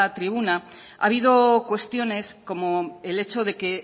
tribuna ha habido cuestiones como el hecho de que